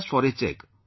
Just for a check